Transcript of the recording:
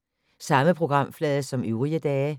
Samme programflade som øvrige dage